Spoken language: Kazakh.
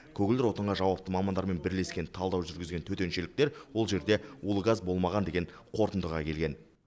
көгілдір отынға жауапты мамандармен бірлескен талдау жүргізген төтеншеліктер ол жерде улы газ болмаған деген қорытындыға келген